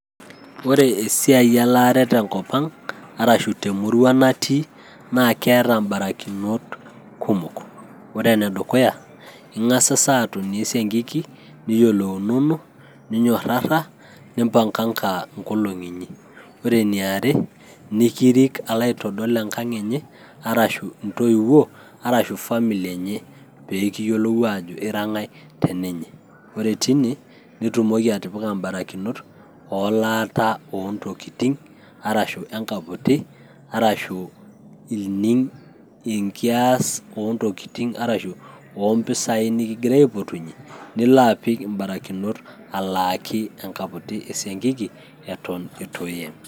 Ore esiai elaare tenkop ang' arashu temurua natii naa keeta ebarakinot kumok. Ore ene dukuya Eng'asasa aatumo esiankiki, niyiolounono ninyorrarra nimbanganga enkolong'i inyi. Ore eniare nikirik alo aitodol entoiwuoi, arashu Engang' enye arashu famili enye pee kiyiolou aajo ira engae teninye , ore teneine nitumoki atipika ebarakinot olaata oo ntokitin arashu enkaputi arashu ening' enkias oo ntokitin arashu oo mpisai nikigirae aipotunyie Nilo apik ebarakinot alaaki esiankiki entokitin' eton eitu eeyem.